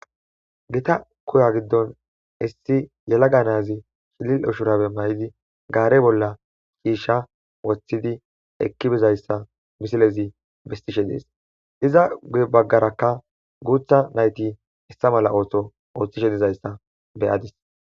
gita koya giddon issi yelaga naazi shilil ushurabe may7idi gaare bolla ciisha woththidi ekki bizayssa misilezi bistishe dees iza guy baggarakka guutha nayti issa mala ootho ooththishe dizayssa beyadis